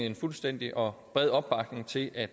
en fuldstændig og bred opbakning til at